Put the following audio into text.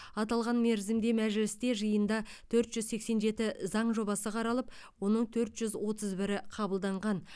аталған мерзімде мәжілісте жиында төрт жүз сексен жеті заң жобасы қаралып оның төрт жүз отыз бірі қабылданған